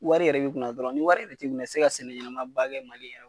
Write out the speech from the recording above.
Wari yɛrɛ b'i kun na dɔrɔn ni wari yɛrɛ t'i kun na i ti se ka sɛnɛ ɲɛnamaba kɛ Mali yɛrɛ